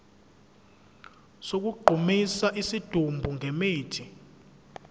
sokugqumisa isidumbu ngemithi